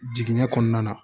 Jiginɲɛ kɔnɔna na